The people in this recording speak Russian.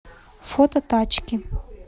фото тачки